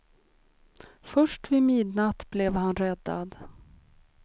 Först vid midnatt blev han räddad.